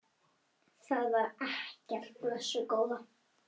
Það var ekkert, blessuð góða.